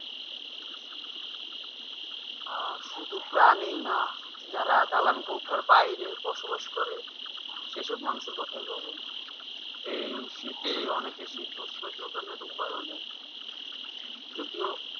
আহ শুধু প্রাণীই না যারা দালান কৌঠার বাইরে বসবাস করে সে সব মানুষের কথাই ভাবুন এই শীতে অনেকে শীতবস্ত্র জাগানোর উপায়ও নেই যদিও